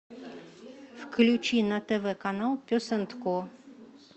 включи на тв канал пес энд ко